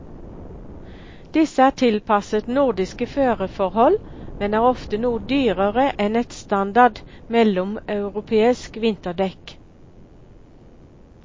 Disse er tilpasset nordiske føreforhold, men er ofte noe dyrere enn et standard mellomeuropeiske vinterdekk.